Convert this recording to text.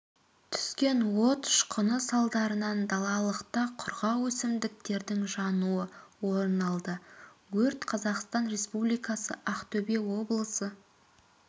түскен от ұшқыны салдарынан далалықта құрғақ өсімдіктердің жануы орын алды өрт қазақстан республикасы ақтөбе облысы